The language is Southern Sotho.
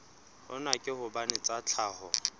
hona ke hobane tsa tlhaho